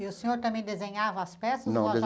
E o senhor também desenhava as peças ou ela já?